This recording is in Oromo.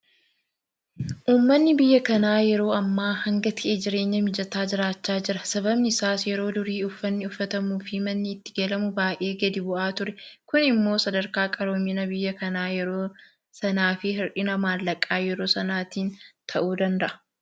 Uummanni biyya kanaa yeroo ammaa hanga ta'e jireenya mijataa jiraachaa jira. Sababni isaas yeroo durii uffanni uffatamuufi manni itti galamu baay'ee gadi bu'aa ture. Kun immoo sadarkaa qaroomina biyya kanaa yeroo sanaafi hir'ina maallaqaa yeroo sanaatiin ta'uu danda'a.